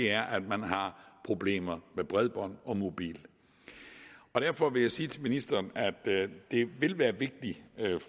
er at man har problemer med bredbånd og mobil derfor vil jeg sige til ministeren at det vil være vigtigt